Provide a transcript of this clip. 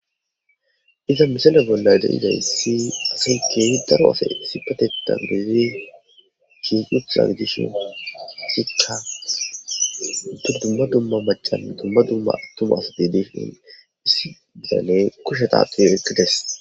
Iza misila bolla dayida issi asi keehi daro ase issipateta biidi shiiqi uttida gidishin issikka dumma dumma macan dumma dumma attuma asa dishin issi bitane kushe tsatsidi oyqqi des.